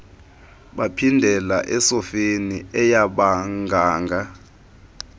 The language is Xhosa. baphindela esofeni eyabaganga